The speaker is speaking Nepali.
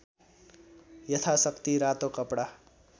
यथाशक्ति रातो कपडा